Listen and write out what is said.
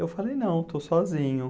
Eu falei, não, estou sozinho.